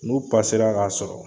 N'u ra k'a sɔrɔ